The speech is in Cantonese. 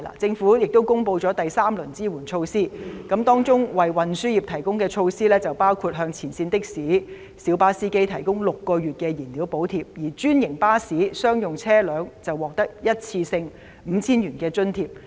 政府公布了第三輪紓困措施，當中為運輸業提供的措施包括向前線的士、小巴司機提供6個月燃料補貼，而專營巴士、商用車輛則獲得一次性 5,000 元津貼。